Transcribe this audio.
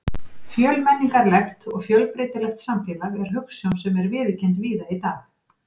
Fjölmenningarlegt og fjölbreytilegt samfélag er hugsjón sem er viðurkennd víða í dag.